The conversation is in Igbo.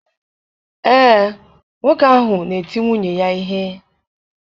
Ee, nwoke ahụ na-eti nwunye ya ihe.